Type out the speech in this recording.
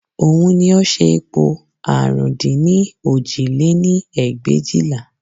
Òun ni ó ṣe ipò àrún dín ní òjì lé-ní ẹgbẹ̀éjìlá